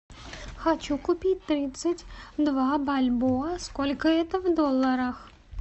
хочу купить тридцать два бальбоа сколько это в долларах